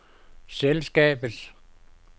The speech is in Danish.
selskabets